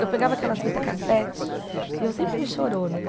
Eu pegava aquelas fitas cassete e eu sempre fui chorona né.